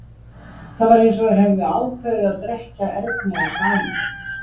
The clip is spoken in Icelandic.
Það var eins og þeir tveir hefðu ákveðið að drekkja Erni á staðnum.